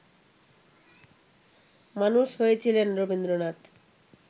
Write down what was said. মানুষ হয়েছিলেন রবীন্দ্রনাথ